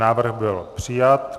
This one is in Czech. Návrh byl přijat.